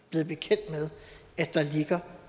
blevet bekendt med at der